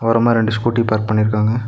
ஓரமா ரெண்டு scooty park பண்ணிருக்காங்க.